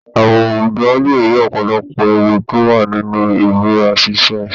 Àwùjọ lé rí ọ̀pọ̀lọpọ̀ ewu tó wà nínú ìbúra ṣíṣe